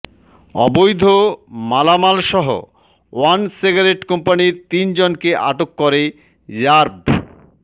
অবৈধ মালামালসহ one cigarette কোম্পানির তিনজনকে আটক করে র্যাব